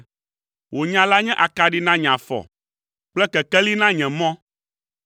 Wò nya la nye akaɖi na nye afɔ kple kekeli na nye mɔ.